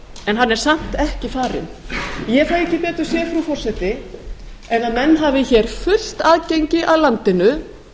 en hann er samt ekki farinn ég fæ ekki betur séð frú forseti en menn hafi hér fullt aðgengi að landinu